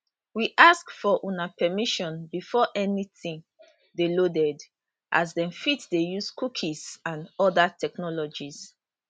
we ask for una permission before anytin dey loaded as dem fit dey use cookies and oda technologies